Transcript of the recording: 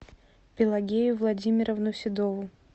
пелагею владимировну седову